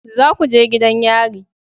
Za ku je gidan yari